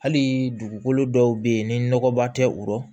Hali dugukolo dɔw bɛ yen ni nɔgɔba tɛ o yɔrɔ